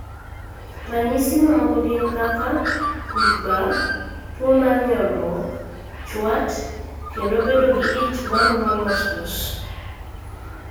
Ranyisi mamoko gin kaka: wich bar, tuwo mar nyolruok, chwat, kendo bedo gi ich ma rumo mos mos.